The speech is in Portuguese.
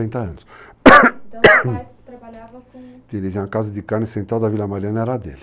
60 anos. Então o pai trabalhava com... Ele tinha uma casa de carne central da Vila Mariana, era a dele.